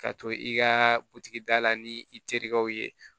Ka to i ka butigi da la ni i terikɛw ye